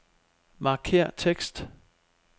Markér tekst.